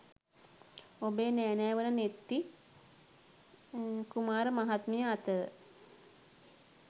ඔබේ නෑනා වන නෙත්ති කුමාර මහත්මිය අතර